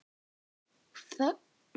Hvað merkir þetta orð?